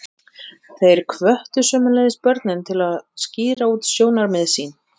Þeir hvöttu sömuleiðis börnin til að skýra út sjónarmið sín.